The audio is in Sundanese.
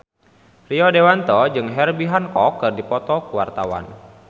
Rio Dewanto jeung Herbie Hancock keur dipoto ku wartawan